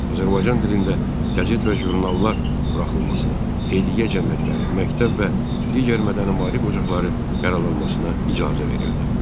Azərbaycan dilində qəzet və jurnallar buraxılmasına, xeyriyyə cəmiyyətləri, məktəb və digər mədəni-maarif ocaqları yaradılmasına icazə verildi.